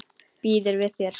Býður við þér.